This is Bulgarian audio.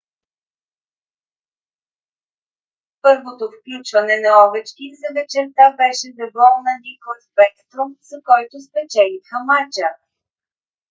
първото включване на овечкин за вечерта беше за гол на никлас бекстром с който спечелиха мача;